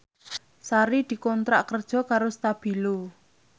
Sari dikontrak kerja karo Stabilo